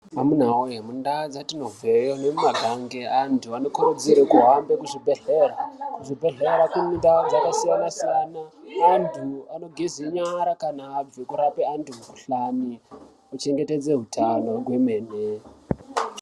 Amuna wee mundaa dzetinobveyo nemumagange , antu anokurudzirwe kuhambe kuzvibhedhleya. Kuzvibhedhlera kune ndaa dzakasiyana-siyana, antu anogeze nyara kana abve kurape antu mikuhlani, kuchengetedze utano kwemene.